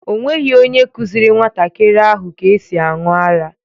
O nweghị onye kụziiri nwantakịrị ahụ ka esi aṅụ ara.